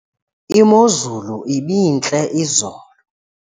imozulu ibintle izolo